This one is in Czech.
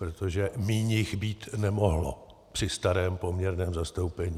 Protože míň jich být nemohlo při starém poměrném zastoupení.